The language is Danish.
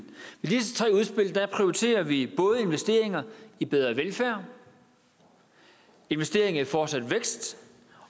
prioriterer vi både investeringer i bedre velfærd og investeringer i fortsat vækst